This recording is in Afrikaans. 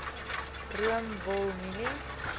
room wol mielies